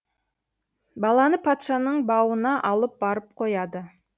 баланы патшаның бауына алып барып қояды